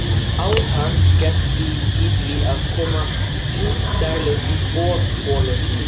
Átak gert í því að koma djúpdælum í borholur í